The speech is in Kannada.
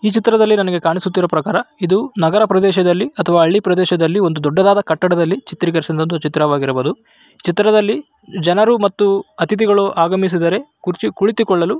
ಈ ಚಿತ್ರದಲ್ಲಿ ನನಗೆ ಕಾಣಿಸುತ್ತಿರುವ ಪ್ರಕಾರ ಇದು ನಗರ ಪ್ರದೇಶದಲ್ಲಿ ಅಥವಾ ಹಳ್ಳಿ ಪ್ರದೇಶದಲ್ಲಿ ಒಂದು ದೊಡ್ಡದಾದ ಕಟ್ಟಡ ದಲ್ಲಿ ಚಿತ್ರೀಕರಿಸಿರುವ ಚಿತ್ರಣ ವಾಗಿರಬಹುದು ಚಿತ್ರದಲ್ಲಿ ಜನರು ಮತ್ತು ಅತಿಥಿಗಳು ಆಗಮಿಸಿದ್ದಾರೆ ಕುರುಚಿ ಕುತ್ತಿಕೊಳ್ಳಲು --